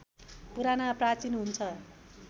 पुराना प्राचीन हुन्छ